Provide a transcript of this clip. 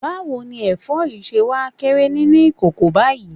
Báwo ni ẹ̀fọ́ yìí ṣe wá kéré nínú ìkòkò báyìí?